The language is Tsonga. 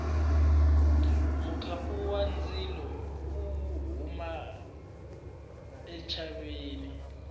mukhapu wa ndzilo wo huma entshaveni